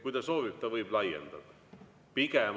Kui ta soovib, siis ta võib laiendada.